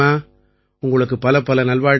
உங்களுக்கு பலப்பல நல்வாழ்த்துக்கள்